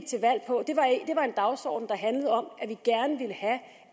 dagsorden der handlede om